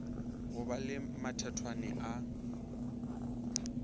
go ba le mathethwane a